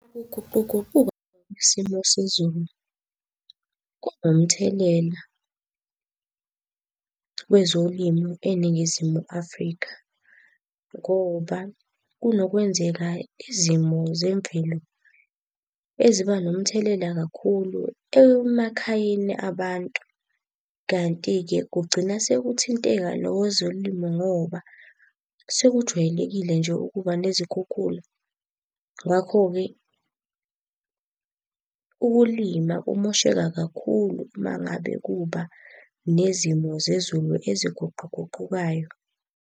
Ukuguquguquka kwesimo sezulu kunomthelela kwezolimo eNingizimu Afrika ngoba kunokwenzeka izimo zemvelo eziba nomthelela kakhulu emakhayeni abantu. Kanti-ke kugcina sekuthinteka nokwezolimo ngoba, sekujwayelekile nje ukuba nezikhukhula. Ngakho-ke ukulima kumosheka kakhulu uma ngabe kuba nezimo zezulu aziguquguqukayo.